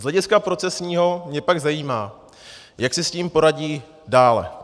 Z hlediska procesního mě pak zajímá, jak si s tím poradí dále.